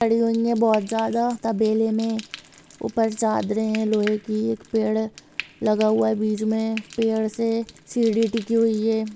--पड़ी हुई है बहोत ज्यादा तबेले में ऊपर चादरें है लोहे की एक पेड़ है लगा हुआ है बीच में पेड़ से सीढ़ी टिकी हुई है।